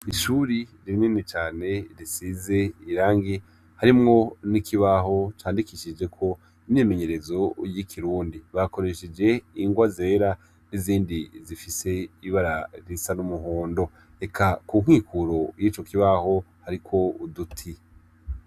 Ishuri rinini cane risize irangi harimwo n'ikibaho candikishijeko imyimenyerezo y'ikirundi, bakoresheje ingwa zera n'izindi zifise ibara risa n'umuhondo eka ku nkinkuro yico kibaho hariko uduti.